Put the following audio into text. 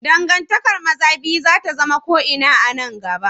Dangantakar maza biyu za ta zama ko ina a nan gaba.